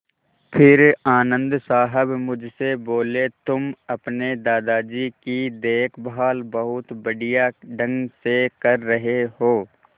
फिर आनन्द साहब मुझसे बोले तुम अपने दादाजी की देखभाल बहुत बढ़िया ढंग से कर रहे हो